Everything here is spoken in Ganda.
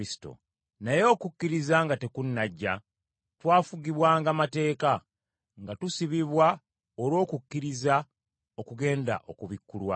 Naye okukkiriza nga tekunnajja, twafugibwanga mateeka, nga tusibibwa olw’okukkiriza okugenda okubikkulwa;